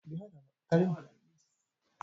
Zan kashe naira dubu ɗari a kuɗin mota